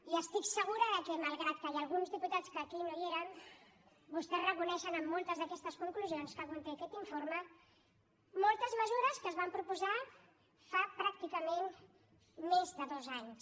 i estic segura de que malgrat que hi ha alguns diputats que aquí no hi eren vostès reconeixen en moltes d’aquestes conclusions que conté aquest informe moltes mesures que es van proposar fa pràcticament més de dos anys